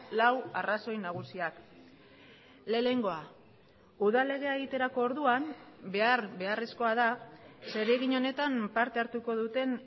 lau arrazoi nagusiak lehenengoa udal legea egiterako orduan behar beharrezkoa da zeregin honetan parte hartuko duten